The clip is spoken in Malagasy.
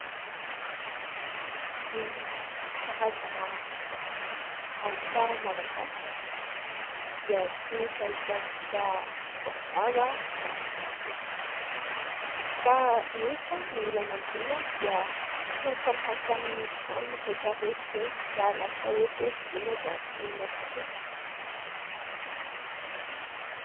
Ny karazana asa malagasy dia tsy maintsy ahitantsika baobaba na maki. Fa nefa ny olana amin'ireny dia tsy mifanaraka amin'ny trano rehetra rehetra ireny, ka lasa ohatra hoe vidiana dia ampirimina fotsiny.